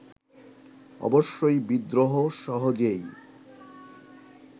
অবশ্যই বিদ্রোহ সহজেই